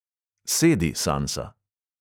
Sedi, sansa.